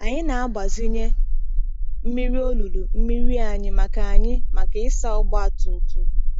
Anyị na-agbazinye mmiri olulu mmiri anyị maka anyị maka ịsa ọgba tum tum.